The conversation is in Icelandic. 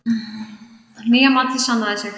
Nýja matið sannaði sig.